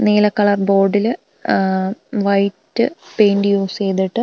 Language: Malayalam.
നീല കളർ ബോർഡില് ഉഹ് വൈറ്റ് പെയിന്റ് യൂസ് ചെയ്തിട്ട് --